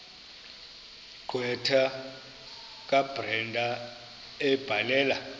gqwetha kabrenda ebhalela